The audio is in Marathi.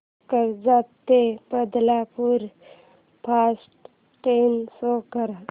कर्जत ते बदलापूर फास्ट ट्रेन शो कर